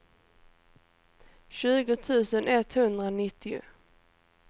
tjugo tusen etthundranittio